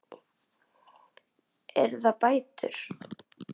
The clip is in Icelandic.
Eru það bætur?